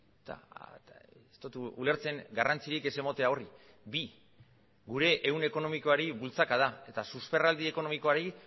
eta ez dut ulertzen garrantzirik ez ematea horri bi gure ehun ekonomikoari bultzakada eta susperraldi ekonomikoari